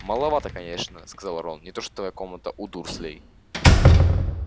маловата конечно сказал рон не то что твоя комната у дурслей